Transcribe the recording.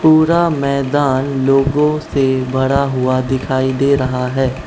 पूरा मैदान लोगों से भरा हुआ दिखाई दे रहा है।